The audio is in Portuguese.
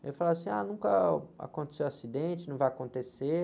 Ele falava assim, ah, nunca aconteceu acidente, não vai acontecer.